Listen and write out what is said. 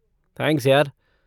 Thanks यार।